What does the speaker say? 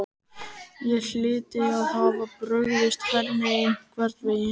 Ég hlyti að hafa brugðist henni einhvern veginn.